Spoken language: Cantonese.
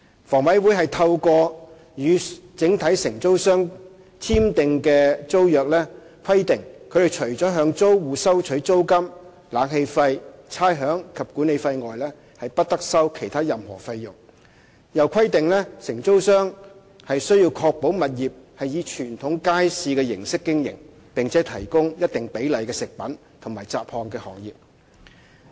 房委會透過與整體承租商簽訂的租約規定，他們除了向租戶收取租金、冷氣費、差餉及管理費外，不得收取其他任何費用；又規定承租商須確保物業以傳統街市的形式經營，並且提供一定比例的食品和雜項的行業。